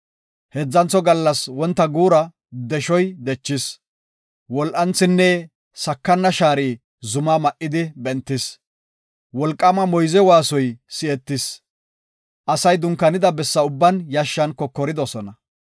Heedzantho gallas wonta guura deshoy dechis. Wol7anthinne sakana shaari zumaa ma7idi bentis. Wolqaama moyze waasoy si7etis. Asay dunkaanida bessa ubban yashshan kokoridosona.